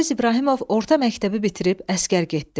Mübariz İbrahimov orta məktəbi bitirib əsgər getdi.